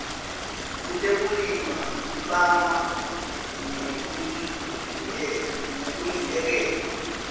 kutekulima libangwa ngulembuyekelo